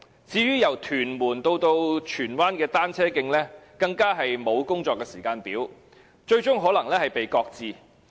至於由屯門至荃灣的單車徑，更沒有工作時間表，最終可能擱置。